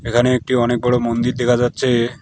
এখানে একটি অনেক বড় মন্দির দেখা যাচ্ছে।